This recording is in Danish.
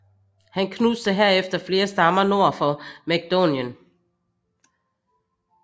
Han knuste herefter flere stammer nord for Makedonien